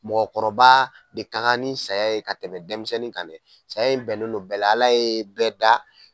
Mɔgɔkɔrɔba de ka kan ni saya ye ka tɛmɛ denmisɛnnin kan dɛ ,saya in bɛnnen n'o bɛɛ la. Ala ye bɛɛ da